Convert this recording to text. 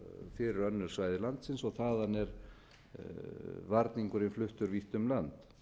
fyrir önnur svæði landsins og þaðan er varningurinn fluttur vítt um land